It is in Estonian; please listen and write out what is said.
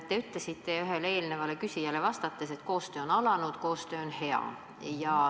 Te ütlesite ühele eelnevale küsijale vastates, et koostöö on alanud, koostöö on hea.